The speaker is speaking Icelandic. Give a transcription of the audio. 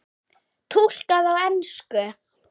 Túlkað á ensku.